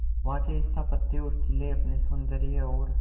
वहां के स्थापत्य और किले अपने सौंदर्य और